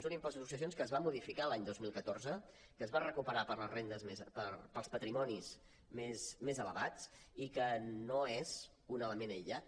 un impost de successions que es va modificar l’any dos mil catorze que es va recuperar per als patrimonis més elevats i que no és un element aïllat